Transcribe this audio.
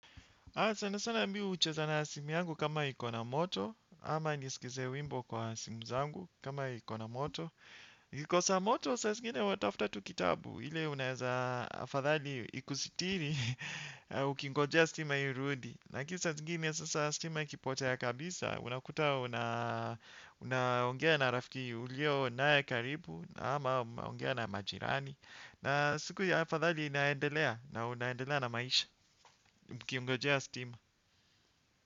Haa sana sana mi hucheza na simu yangu kama iko na moto, ama nisikize wimbo kwa simu zangu kama ikona moto. Ikikosa moto, saa zingine unatafuta tu kitabu, ile unaeza afadhali ikusitiri ukingojea stima irudi. Lakini saa zingine sasa stima ikipotea kabisa, unakuta una ongea na rafiki uliyo naye karibu, ama unaongea na majirani. Na siku ya afadhali inaendelea na unaendelea na maisha ukiongojea stima.